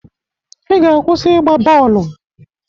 I ga-akwụsị igba bọọlụ!